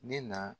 Ne na